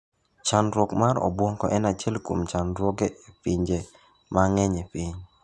Chandruok mar obuongo en achiel kuom chandruoge e pinje mang'eny e piny.